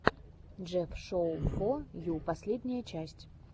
джефф шоу фо ю последняя часть